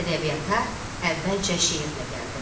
Ədəbiyyata əvvəlcə şeirlə gəldim.